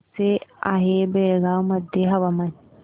कसे आहे बेळगाव मध्ये हवामान